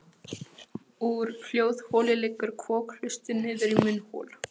Úr hljóðholi liggur kokhlustin niður í munnhol.